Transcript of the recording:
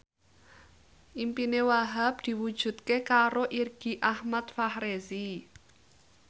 impine Wahhab diwujudke karo Irgi Ahmad Fahrezi